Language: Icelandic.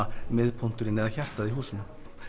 miðpunkturinn eða hjartað í húsinu